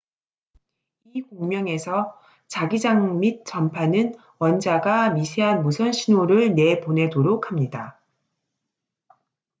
이 공명에서 자기장 및 전파는 원자가 미세한 무선 신호를 내보내도록 합니다